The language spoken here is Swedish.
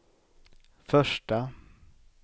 första